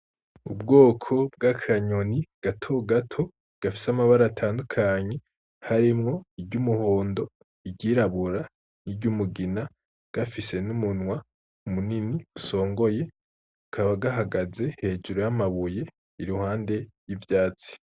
Ubwoko bw’akanyoni gato gato gafise amabara atandukanye harimwo iry’umuhondo, iryirabura, iry’umugina, gafise n’umunwa munini usongoye, kakaba gahagaze hejuru y’amabuye iruhande y’ivyatsi.